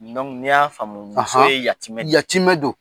Ni n y'a faamu, muso ye yatiimɛ de ye.